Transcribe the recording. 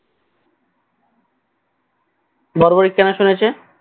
বর্বরী কেন শুনেছে